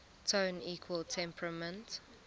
tone equal temperament